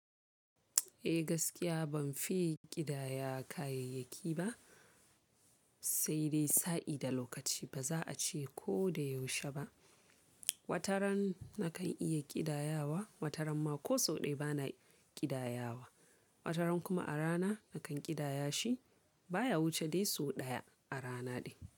Eh gaskiya ban fi ƙidaya kayayyaki ba, sai dai sa'i da lokaci baza a ce ko da yaushe ba. Wataran nakan iya ƙidayawa, wataran ma ko so ɗaya bana ƙidayawa. Wataran kuma a rana nakan ƙidaya shi baya wuce dai so ɗaya a rana ɗin.